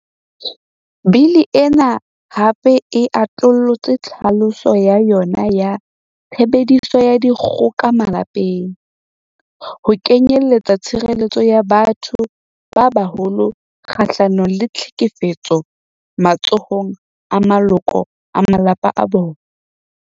Bili ena hape e atollotse tlhaloso ya yona ya 'tshebediso ya dikgoka malapeng' ho kenyelletsa tshire-lletso ya batho ba baholo kga-hlanong le tlhekefetso matsohong a maloko a malapa a bona.